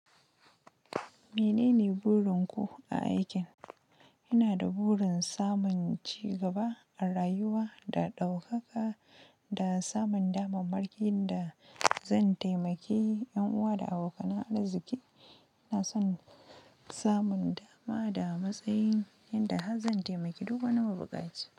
Menene burin ku a aikin? Ina da burin samun ci gaba a rayuwa da ɗaukaka, da samun damar makin da zan taimake yan uwa da abokan arziki. Ina son samun dama da matsayi inda harv zan taimaki duk wani mabuƙaci.